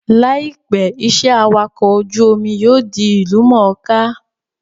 Láìpẹ́, iṣẹ́ awakọ̀ ojú-omi yóò di ìlú mọ̀ọ́ká